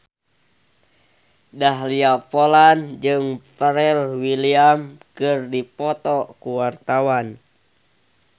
Dahlia Poland jeung Pharrell Williams keur dipoto ku wartawan